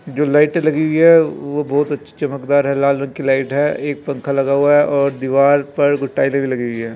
जो लाइटे लगी हुई हैं वो बहुत अच्छी चमकदार है लाल रंग की लाइट है एक पंखा लगा हुआ है और दीवाल पर कुछ भी लगी हुई है।